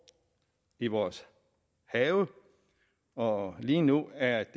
i vores have og lige nu er